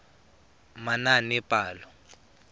manaanepalo